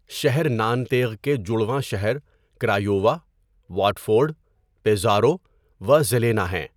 شہر نانتیغ کے جڑواں شہر کرایووا، واٹفورڈ، پیزارو و ژیلینا ہیں۔